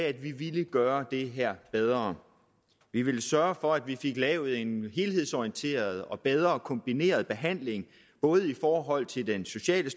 at vi ville gøre det her bedre vi ville sørge for at vi fik lavet en helhedsorienteret og bedre kombineret behandling både i forhold til den sociale